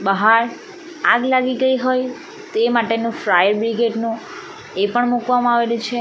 બહાર આગ લાગી ગઈ હોય તે માટેનું ફાયબ્રિકેટ નું એ પણ મુકવામાં આવેલી છે.